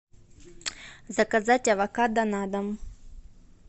заказать авокадо на дом